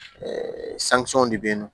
de bɛ ye nɔ